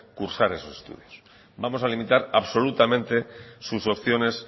cursar esos estudios vamos a limitar absolutamente sus opciones